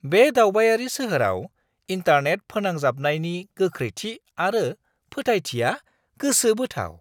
बे दावबायारि सोहोराव इन्टारनेट फोनांजाबनायनि गोख्रैथि आरो फोथायथिआ गोसोबोथाव।